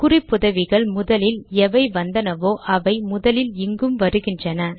குறிப்புதவிகள் முதலில் எவை வந்தனவோ அவை முதலில் இங்கும் வருகின்றன